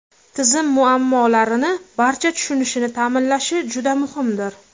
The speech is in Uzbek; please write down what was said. Tizim muammolarni barcha tushunishini ta’minlashi juda muhimdir.